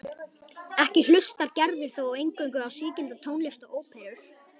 Ekki hlustar Gerður þó eingöngu á sígilda tónlist og óperur.